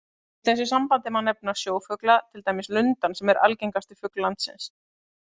Í þessu sambandi má nefna sjófugla, til dæmis lundann sem er algengasti fugl landsins.